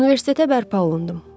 Universitetə bərpa olundum.